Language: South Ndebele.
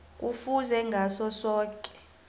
kufuze ngaso soke